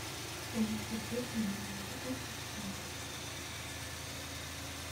танец под песню она горит на танцполе